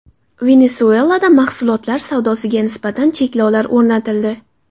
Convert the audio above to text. Venesuelada mahsulotlar savdosiga nisbatan cheklovlar o‘rnatildi.